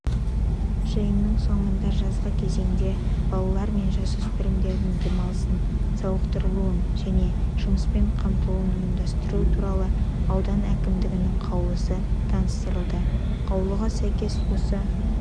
жиынның соңында жазғы кезеңде балалар мен жасөспірімдердің демалысын сауықтырылуын және жұмыспен қамтылуын ұйымдастыру туралы аудан әкімдігінің қаулысы таныстырылды қаулыға сәйкес осы